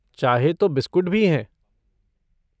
चाहे तो बिस्कुट भी हैं।